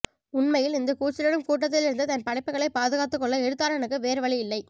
உண்மையில் இந்த கூச்சலிடும் கூட்டத்திலிருந்து தன் படைப்புக்களை பாதுகாத்துக்கொள்ள எழுத்தாளனுக்கு வேறுவழியில்லை